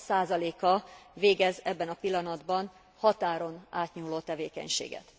a végez ebben a pillanatban határon átnyúló tevékenységet.